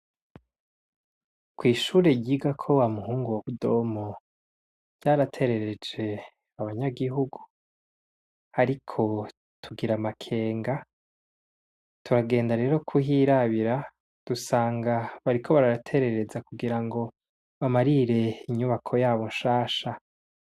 Kw’ishure ryigako wa muhungu wa Budomo twaraterereje abanyagihugu ariko tugira amakenga, turagenda rero kuhirabira dusanga bariko baraterereza kugira ngo bamarire inyubako yabo nshasha.